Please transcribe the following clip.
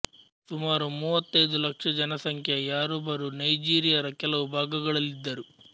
ಸುಮಾರು ಮೂವತ್ತೈದು ಲಕ್ಷ ಜನಸಂಖ್ಯೆಯ ಯಾರುಬರು ನೈಜೀರಿಯರ ಕೆಲವು ಭಾಗಗಳಲ್ಲಿದ್ದರು